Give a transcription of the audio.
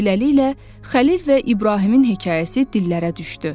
Beləliklə, Xəlil və İbrahimin hekayəsi dillərə düşdü.